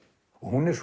hún er